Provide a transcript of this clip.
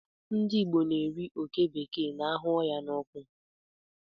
Ndị Igbo na-eri oké bekee na-ahụ ya n'ọkụ.